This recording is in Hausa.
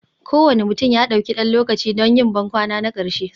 Kowane mutum ya ɗauki ɗan lokaci don yin bankwana na ƙarshe,